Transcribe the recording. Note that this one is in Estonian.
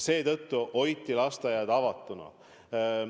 Seetõttu hoiti lasteaiad avatuna.